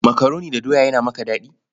Makaroni da doya yana maka daɗi?